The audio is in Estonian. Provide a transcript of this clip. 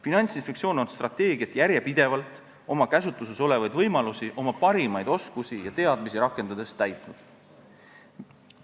Finantsinspektsioon on strateegiat järjepidevalt, oma käsutuses olevaid võimalusi ning oma parimaid oskusi ja teadmisi rakendades täitnud.